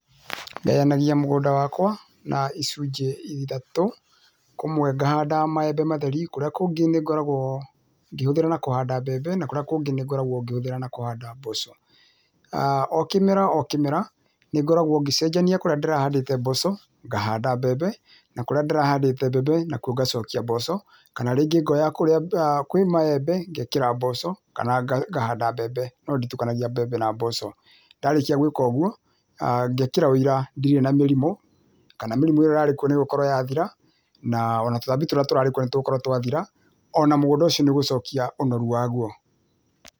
Ngayanagia mũgũnda wakwa, na icũnjĩ ithatũ, kũmwe ngahanda maembe matheri, kũrĩa kũngĩ nĩngoragwo ngĩhũthĩra na kũhanda mbembe, na kũrĩa kũngĩ nĩngoragwo ngĩhũthĩra na kũhanda mboco. O kĩmera o kĩmera, nĩngoragwo ngĩcenjania kũrĩa ndĩrahandĩte mboco, ngahanda mbembe, na kũrĩa ndĩrahandĩte mbembe, nakuo ngacokia mboco. Kana rĩngĩ ngoya kũrĩa kwĩ maembe, ngekĩra mboco kana ngahanda mbembe, no nditukanagia mbembe na mboco. Ndarĩkia gwĩka ũguo, ngekĩra ũira ndirĩ na mĩrimũ, kana mĩrimũ ĩrĩa ĩrarĩ kuo nĩĩgũkorwo yathira, na ona tũtambi tũrĩa tũrarĩ kuo nĩtũgũkorwo twathira, ona mũgũnda ũcio nĩũgũcokia ũnoru waguo.